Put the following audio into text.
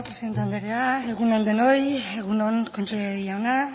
presidente andrea egun on denoi egun on kontseilari jauna